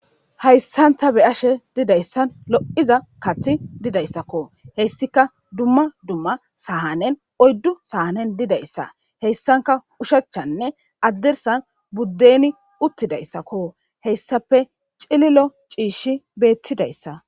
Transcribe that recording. hayssanta be ashe didayssan lo7iza kathi didayssakko hessika dumma dumma sahanen oyddu sahanen didayssa heyssanka ushachanne addersan buddeni uttidayssakko heyssape cililo ciishshi beettidayssa